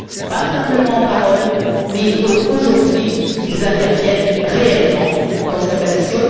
Pas simplement en paroles, il faut aujourd'hui qu'ils interviennent réellement dans cette action.